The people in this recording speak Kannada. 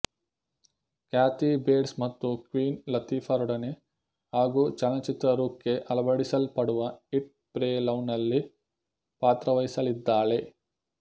ಕ್ಯಾಥೀ ಬೇಟ್ಸ್ ಮತ್ತು ಕ್ವೀನ್ ಲತೀಫಾ ರೊಡನೆ ಹಾಗೂ ಚಲನಚಿತ್ರರೂಕ್ಕೆ ಅಳವಡಿಸಲ್ಪಡುವ ಈಟ್ ಪ್ರೇ ಲವ್ ನಲ್ಲಿ ಪಾತ್ರವಹಿಸಲಿದ್ದಾಳೆ